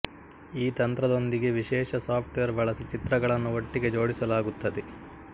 ಈ ತಂತ್ರದೊಂದಿಗೆ ವಿಶೇಷ ಸಾಫ್ಟ್ವೇರ್ ಬಳಸಿ ಚಿತ್ರಗಳನ್ನು ಒಟ್ಟಿಗೆ ಜೋಡಿಸಲಾಗುತ್ತದೆ